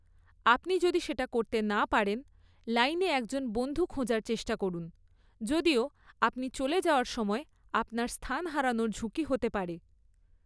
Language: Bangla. আপনি যদি সেটা করতে না পারেন, লাইনে একজন বন্ধু খোঁজার চেষ্টা করুন, যদিও আপনি চলে যাওয়ার সময় আপনার স্থান হারানোর ঝুঁকি হতে পারে।